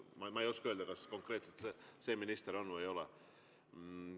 Ma ei oska öelda, kas konkreetselt see minister on või ei ole.